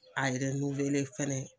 A fɛnɛ.